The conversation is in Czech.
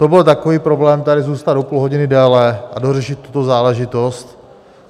To byl takový problém, tady zůstat o půl hodiny déle a dořešit tu záležitost?